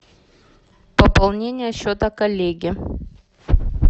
пополнение счета коллеги